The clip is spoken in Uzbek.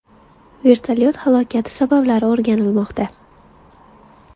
Vertolyot halokati sabablari o‘rganilmoqda.